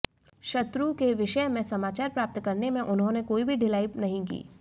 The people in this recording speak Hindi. शत्रुके विषयमें समाचार प्राप्त करनेमें उन्होंने कोई भी ढिलाई नहीं की